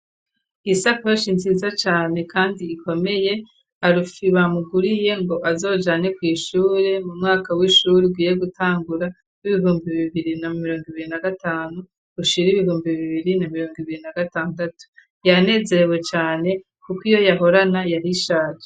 Isakoshi nziza cane kandi ikomeye Alex bamuguriye ngo azojane ku ishuri mu mwaka w'ishuri ugiye gutangura w'ibihumbi bibiri na mirongo ibiri na gatanu ushira ibihumbi bibiri na mirongo ibiri na gatandatu yanezerewe cane kuko iyo yahorana yari ishaje.